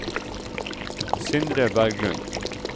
Sindre Berglund